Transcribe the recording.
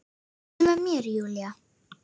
Komdu með mér Júlía.